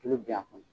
Tulu bil'a kɔnɔ